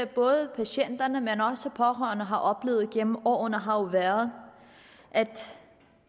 både patienterne men også de pårørende har oplevet gennem årene har jo været at